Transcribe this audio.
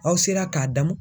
Aw sera ka damun